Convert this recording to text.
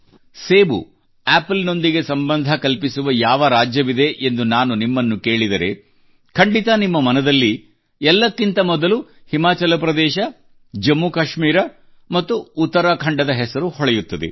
ಸೇಬು ಆಪಲ್ ನೊಂದಿಗೆ ಸಂಬಂಧ ಕಲ್ಪಿಸುವ ಯಾವ ರಾಜ್ಯವಿದೆ ಎಂದು ನಾನು ನಿಮ್ಮನ್ನ ಕೇಳಿದರೆ ಖಂಡಿತ ನಿಮ್ಮ ಮನದಲ್ಲಿ ಎಲ್ಲಕ್ಕಿಂತ ಮೊದಲು ಹಿಮಾಚಲ ಪ್ರದೇಶ ಜಮ್ಮು ಮತ್ತು ಕಾಶ್ಮೀರ ಮತ್ತು ಉತ್ತರಾಖಂಡದ ಹೆಸರು ಹೊಳೆಯುತ್ತದೆ